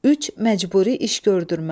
Üç, məcburi iş gördürmə.